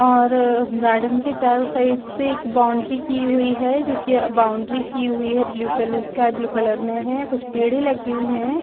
और गार्डन के चारों साइड से एक बाउंड्री की हुई है जॊकि अ बाउंड्री की हुई है blue colour sky blue colour में है कुछ पेड़े लगे हुई हैं ।